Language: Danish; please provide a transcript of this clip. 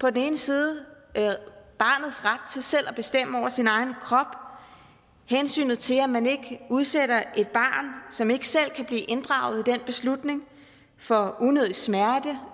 på den ene side er der barnets ret til selv at bestemme over sin egen krop og hensynet til at man ikke udsætter et barn som ikke selv kan blive inddraget i den beslutning for unødig smerte